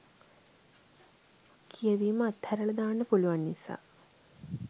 කියවීම අතහැරලා දාන්න පුළුවන් නිසා.